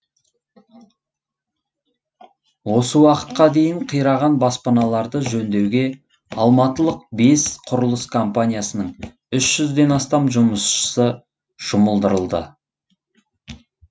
осы уақытқа дейін қираған баспаналарды жөндеуге алматылық бес құрылыс компаниясының үщ жүзден астам жұмысшысы жұмылдырылды